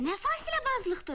Nə fasiləbazlıqdır.